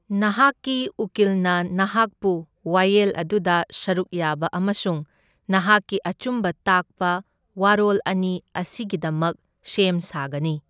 ꯅꯍꯥꯛꯀꯤ ꯎꯀꯤꯜꯅ ꯅꯍꯥꯛꯄꯨ ꯋꯥꯥꯌꯦꯜ ꯑꯗꯨꯗ ꯁꯔꯨꯛ ꯌꯥꯕ ꯑꯃꯁꯨꯡ ꯅꯍꯥꯛꯀꯤ ꯑꯆꯨꯝꯕ ꯇꯥꯛꯄ ꯋꯥꯔꯣꯜ ꯑꯅꯤ ꯑꯁꯤꯒꯤꯗꯃꯛ ꯁꯦꯝ ꯁꯥꯒꯅꯤ꯫